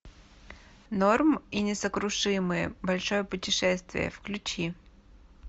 норм и несокрушимые большое путешествие включи